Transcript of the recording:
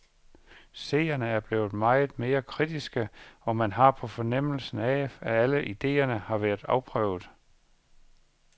Seerne er blevet meget mere kritiske, og man har en fornemmelse af, at alle idéerne har været afprøvet.